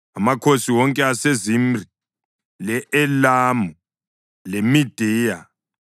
amakhosi wonke aseZimri, le-Elamu leMediya;